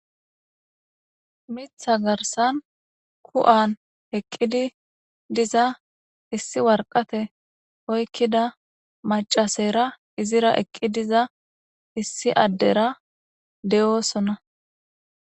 Mitha garsan ku'an eqqidi diza issi warqate oykkida macasera izira eqqi diza issi addera de'oosona.